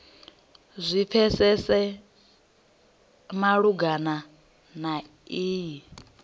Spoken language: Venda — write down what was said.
zwi pfesese malugana na iyi